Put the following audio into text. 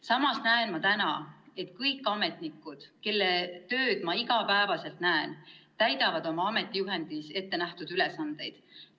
Samas võin öelda, et kõik ametnikud, kelle tööd ma iga päev näen, täidavad oma ametijuhendis ette nähtud ülesandeid.